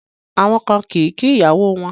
Àwọn ọkùnrin kan kì í kí àwọn ìyàwó wọn